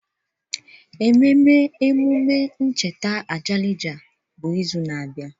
Ememe emume ncheta Ajalija bụ izu na-abịa.